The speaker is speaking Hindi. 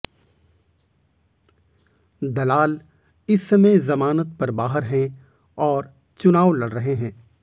दलाल इस समय जमानत पर बाहर है और चुनाव लड़ रहे हैं